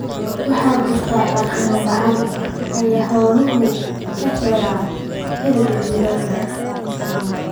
Waxaa jirta daaq la’aan ay xooluhu ka helaan xilliga jiilaalka.